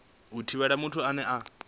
a hu thivheli muthu ane